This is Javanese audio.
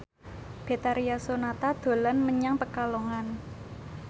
Betharia Sonata dolan menyang Pekalongan